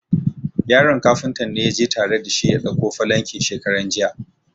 Yaron Kafuntan ne ya je tare da shi ya dauko falankin shekaran jiya.